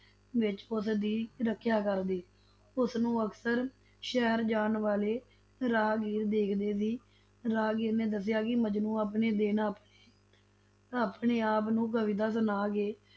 ਵਿੱਚ ਉਸਦੀ ਰੱਖਿਆ ਕਰਦੇ, ਉਸਨੂੰ ਅਕਸਰ ਸ਼ਹਿਰ ਜਾਣ ਵਾਲੇ ਰਾਹਗੀਰ ਦੇਖਦੇ ਸੀ, ਰਾਹਗੀਰ ਨੇ ਦਸਿੱਆ ਕਿ ਮਜਨੂੰ ਆਪਣੇ ਦਿਨ ਆ~ ਆਪਣੇ ਆਪ ਨੂੰ ਕਵਿਤਾ ਸੁਣਾ ਕੇ